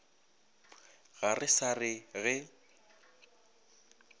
ga re sa re ge